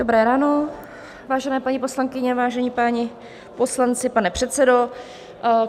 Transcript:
Dobré ráno, vážené paní poslankyně, vážení páni poslanci, pane předsedo.